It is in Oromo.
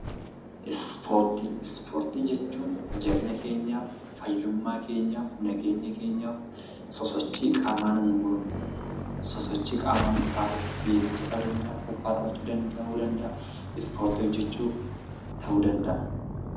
Ispoortii: Ispoortii jechuun jabina keenyaaf fayyummaa keenyaaf nageenya keenyaaf sosochii qaamaa nu goonu, sosochii qaamaa nu taasifnu fiigicha ta'uu danda'a , kubbaa ta'uu danda'a ispoortii hojjachuu ta'uu danda'a.